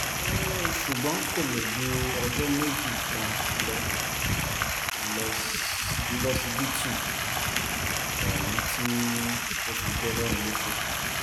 ṣùgbọ́n kò lò ju ọjọ́ méjì kan lọ lọsibítù ohun tó fi jọlọ́run nípẹ́